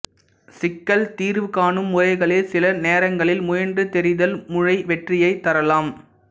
சிக்கல் தீர்வுகாணும் முறைகளில் சில நேரங்களில் முயன்று தெரிதல் முறை வெற்றியைத் தரலாம்